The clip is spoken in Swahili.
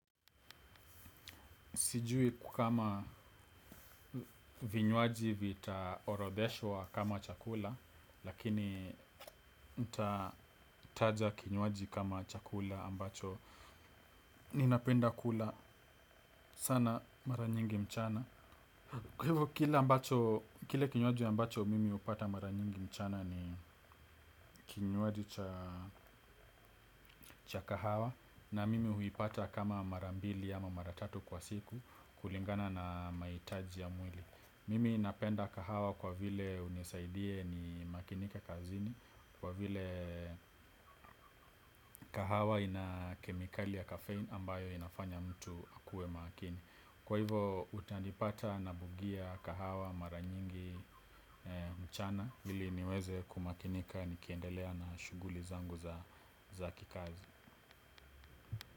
Sijui kukama vinywaji vita orodheshwa kama chakula, lakini nta taja kinywaji kama chakula ambacho. Ninapenda kula sana mara nyingi mchana. Kile kinywaji ambacho mimi upata mara nyingi mchana ni kinywaji cha kahawa na mimi huipata kama mara mbili ama mara tatu kwa siku kulingana na maitaji ya mwili. Mimi napenda kahawa kwa vile hunisaidia nimakinike kazini kwa vike kahawa ina kemikali ya kafein ambayo inafanya mtu akue makini. Kwa hivo utanipata nabugia kahawa maranyingi mchana ili niweze kumakinika nikiendelea na shuguli zangu za kikazi.